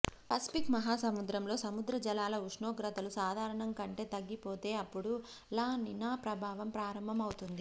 Pacific మహా సముద్రంలో సముద్ర జలాల ఉష్ణోగ్రతలు సాధారణంకంటే తగ్గిపోతే అప్పుడు లా నినా ప్రభావం ప్రారంభమవుతుంది